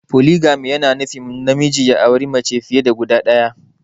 poligami yana nufin namiji ya auri mace fiye da guda ɗaya.